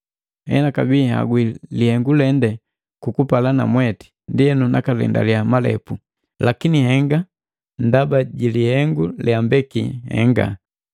Enakabii nihagwii lihengu lende kukupala namwete, ndienu nakalendaliya malepu, lakini henga ndaba ji lihengu leambeki nhengaje.